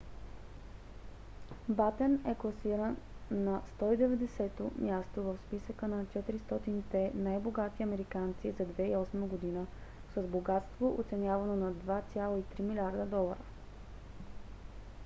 батен е класиран на 190-то място в списъка на 400-те най-богати американци за 2008 г. с богатство оценявано на 2,3 милиарда долара